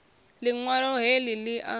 liṋ walo he li a